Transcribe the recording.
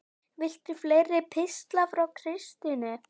Viltu fleiri pistla frá Kristni?